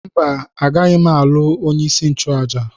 Mba, agaghị m alụ onye isi nchụaja.